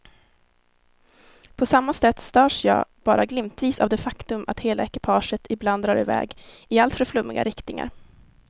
På samma sätt störs jag bara glimtvis av det faktum att hela ekipaget ibland drar i väg i alltför flummiga riktningar.